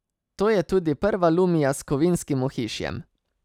To je tudi prva lumia s kovinskim ohišjem.